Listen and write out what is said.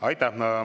Aitäh!